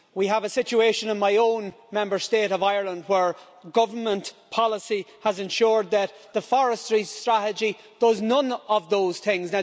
We have a situation in my own Member State of Ireland where government policy has ensured that the forestry strategy does none of those things.